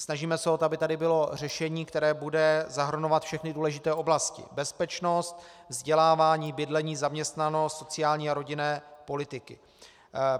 Snažíme se o to, aby tady bylo řešení, které bude zahrnovat všechny důležité oblasti: bezpečnost, vzdělávání, bydlení, zaměstnanost, sociální a rodinnou politiku.